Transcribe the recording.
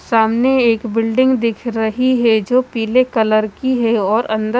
सामने एक बिल्डिंग दिख रही है जो पिले कलर की है और अंदर--